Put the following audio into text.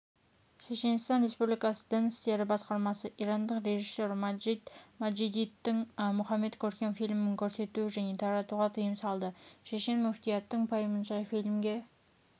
шешенстан республикасы дін істері басқармасы ирандық режиссер маджид маджидидің мұхаммед көркем фильмін көрсетуге және таратуға тыйым салды шешен мүфтиятының пайымынша фильмге